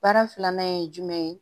Baara filanan ye jumɛn ye